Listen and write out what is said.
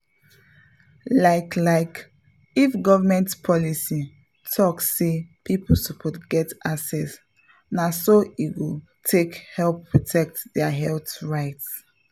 like like if government policy talk say people suppose get access na so e go take help protect their health rights.